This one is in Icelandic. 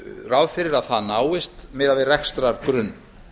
ráð fyrir að það náist miðað við rekstrargrunn